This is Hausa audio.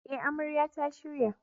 Eh, amarya ta shirya.